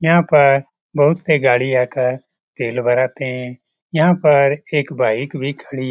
यहां पर बहुत से गाड़ी आकर तेल भरते हैं यह पर एक भी खड़ी --